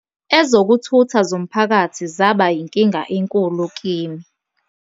"Ezokuthutha zomphakathi zaba yinkinga enkulu kimi.